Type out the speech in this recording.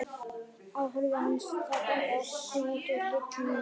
Við horfðum á hann og þaðan á barnið okkar koma út úr hellinum kalda.